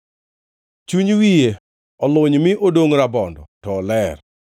Chuny wiye oluny mi odongʼ rabondo, to oler.